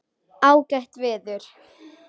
Ágætt veður.